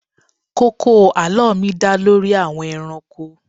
Kókó àlọ́ mi dá lórí àwọn ẹranko.